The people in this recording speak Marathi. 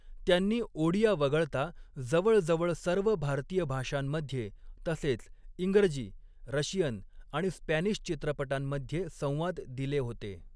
त्यांनी ओडिया वगळता जवळजवळ सर्व भारतीय भाषांमध्ये तसेच इंग्रजी, रशियन आणि स्पॅनिश चित्रपटांमध्ये संवाद दिले होते.